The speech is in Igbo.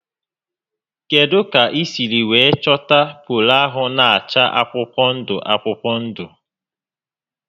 Kedụ kà I siri wéé chọta polo ahụ na acha akwụkwọ ndụ akwụkwọ ndụ?